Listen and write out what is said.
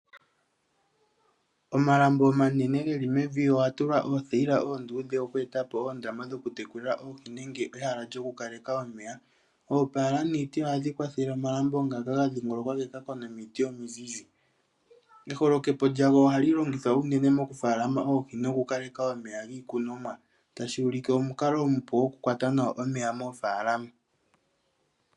Omalambo omanenegeli mevi oga tulwa oothayila oonduudhe oku etapo oondama dhokutekulila oohi nenge ehala lyokulaleka omeya. Oopala niiti ohayi kwathele omalambo ngaka gadhingolokwa komiti omizizi. Eholokepo ohali longithwa unene mokufalama oohi nokukaleka omeya giikunomwa, tashi ulike omukalo omupu gokukwata nawa omeya moofalama.